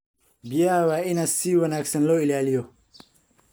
Biyaha waa in si wanaagsan loo ilaaliyo.